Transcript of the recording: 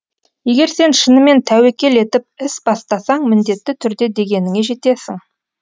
егер сен шынымен тәуекел етіп іс бастасаң міндетті түрде дегеніңе жетесің